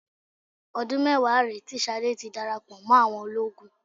Ọdún mẹ́wàá rèé tí Ṣadé ti darapọ̀ mọ́ àwọn ológun